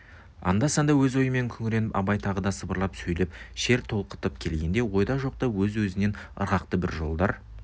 анда-санда өз ойымен күңіреніп абай тағы да сыбырлап сөйлеп шер толқытып кеткенде ойда жоқта өз-өзінен ырғақты бір жолдар